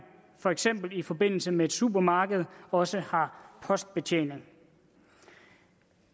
for eksempel i forbindelse med et supermarked også har postbetjening